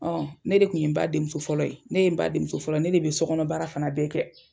ne de tun ye n ba denmuso fɔlɔ ye, ne ye n ba denmuso fɔlɔ ne de be so kɔnɔ baara fana bɛɛ kɛ.